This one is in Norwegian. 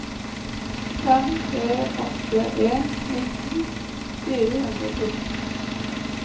fem tre åtte en nitten fire hundre og fjorten